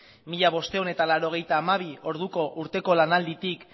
mila bostehun eta laurogeita hamabi orduko urteko lanalditik